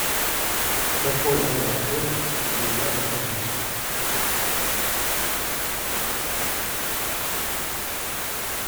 какой номер отеля где я нахожусь